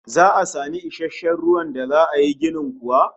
Za'a samu isasshen ruwan da za yi ginin kuwa?